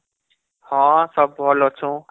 ହଁ ସବ ଭଲ ଅଛୁଁ